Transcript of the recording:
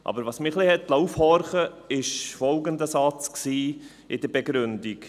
Aber was mich ein wenig aufhorchen liess, war folgender Satz in der Begründung: